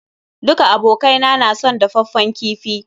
Duka abokai na son dafaffen kifi.